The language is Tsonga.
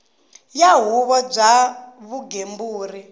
wa huvo ya vugembuli bya